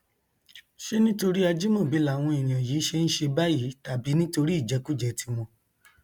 ṣé nítorí ajimobi làwọn èèyàn yìí ṣe ń ṣe báyìí tàbí nítorí ìjẹkújẹ tiwọn